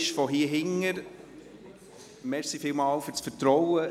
Noch von hier aus: Nochmals vielen Dank für das Vertrauen.